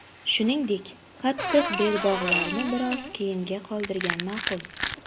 Shuningdek, qattiq belbog‘larni biroz keyinga qoldirgan ma’qul.